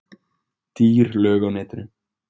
Dýr lög á netinu